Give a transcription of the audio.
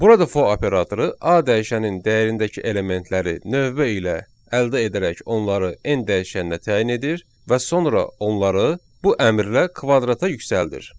Burada fo operatoru A dəyişənin dəyərindəki elementləri növbə ilə əldə edərək onları n dəyişənnə təyin edir və sonra onları bu əmrlə kvadrata yüksəldir.